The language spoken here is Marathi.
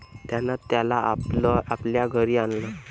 त्यानं त्याला आपल्या घरी आणलं.